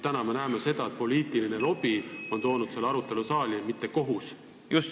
Praegu me näeme seda, et poliitiline lobi on toonud selle arutelu siia saali, mitte kohus.